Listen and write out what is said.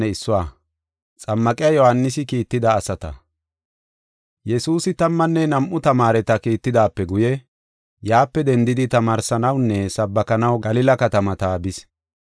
Yesuusi tammanne nam7u tamaareta kiitidaape guye yaape dendidi tamaarsanawunne sabbakanaw Galila katamata bis.